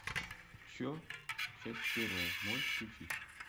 че часть первая можешь включить